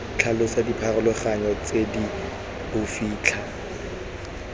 tlhalosa dipharologano tse di bofitlha